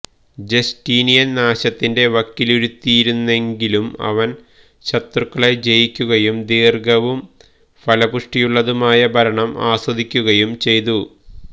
Justinian നാശത്തിന്റെ വക്കിലിരുത്തിയിരുന്നെങ്കിലും അവൻ ശത്രുക്കളെ ജയിക്കുകയും ദീർഘവും ഫലപുഷ്ടിയുള്ളതുമായ ഭരണം ആസ്വദിക്കുകയും ചെയ്തു